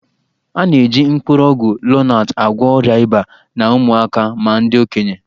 A na-eji mkpụrụ ọgwụ Lonat agwọ ọrịa ịba na ụmụaka ma ndị okenye